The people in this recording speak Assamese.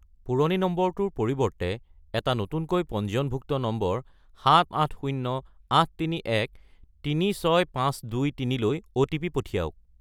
পুৰণি নম্বৰটোৰ পৰিৱৰ্তে এটা নতুনকৈ পঞ্জীয়নভুক্ত নম্বৰ 78083136523 লৈ অ'টিপি পঠিয়াওক।